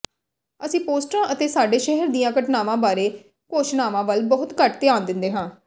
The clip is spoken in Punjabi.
ਅਸੀਂ ਪੋਸਟਰਾਂ ਅਤੇ ਸਾਡੇ ਸ਼ਹਿਰ ਦੀਆਂ ਘਟਨਾਵਾਂ ਬਾਰੇ ਘੋਸ਼ਣਾਵਾਂ ਵੱਲ ਬਹੁਤ ਘੱਟ ਧਿਆਨ ਦਿੰਦੇ ਹਾਂ